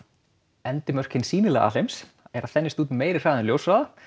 endimörk hins sýnilega alheims eru að þenjast út á meiri hraða en ljóshraða